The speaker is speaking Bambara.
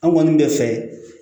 An kɔni bɛ fɛ